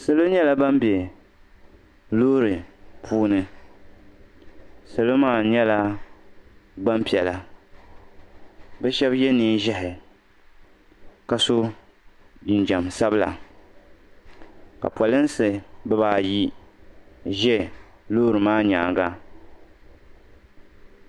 Salo nyɛla ban be loori puuni salo maa nyɛla gbampiɛla bɛ shɛba ye neen'ʒɛhi ka so jinjam sabila ka polinsi bibaayi ʒe loori maa nyaaŋa.